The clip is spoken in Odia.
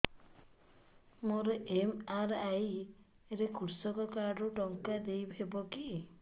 ମୋର ଏମ.ଆର.ଆଇ ରେ କୃଷକ କାର୍ଡ ରୁ ଟଙ୍କା ଦେଇ ହବ କି